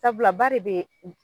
Sabula ba de be u